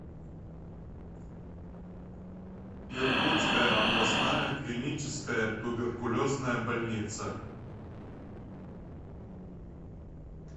иркутская областная клиническая туберкулезная больница